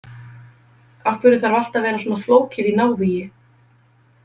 Af hverju þarf allt að vera svona flókið í návígi?